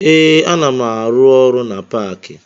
Ee, ana m arụ ọrụ na paakị